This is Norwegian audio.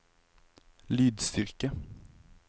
lydstyrke